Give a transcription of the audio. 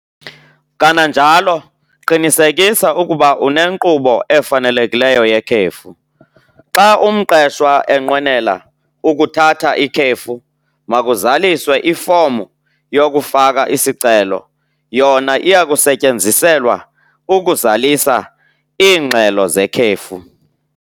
Kananjalo qinisekisa ukuba unenkqubo efanelekileyo yekhefu. Xa umqeshwa enqwenela ukuthatha ikhefu makuzaliswe ifomu yokufaka isicelo. Yona iya kusetyenziselwa ukuzalisa iingxelo zekhefu.